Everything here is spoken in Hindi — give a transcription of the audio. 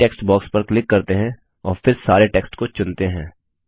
बॉडी टेक्स्ट बॉक्स पर क्लिक करते हैं और फिर सारे टेक्स्ट को चुनते हैं